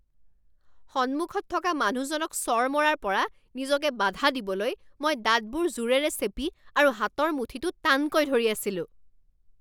সন্মুখত থকা মানুহজনক চৰ মৰাৰ পৰা নিজকে বাধা দিবলৈ মই দাঁতবোৰ জোৰেৰে চেপি আৰু হাতৰ মুঠিটো টানকৈ ধৰি আছিলোঁ